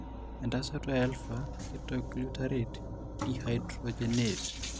entasato eAlpha ketoglutarate dehydrogenase?